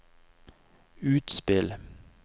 utspill